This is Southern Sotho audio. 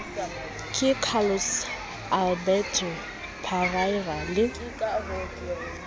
ke carlos alberto parreira le